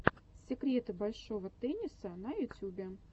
секреты большого тенниса на ютюбе